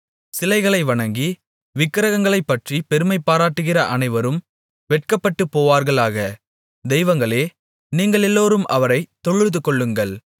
சிலைகளை வணங்கி விக்கிரகங்களைப்பற்றிப் பெருமைபாராட்டுகிற அனைவரும் வெட்கப்பட்டுப் போவார்களாக தெய்வங்களே நீங்களெல்லோரும் அவரைத் தொழுதுகொள்ளுங்கள்